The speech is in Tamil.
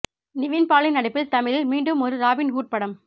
நிவின் பாலி நடிப்பில் தமிழில் மீண்டும் ஒரு ராபின் ஹுட் படம்